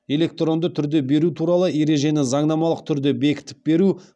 электронды түрде беру туралы ережені заңнамалық түрде бекітіп беру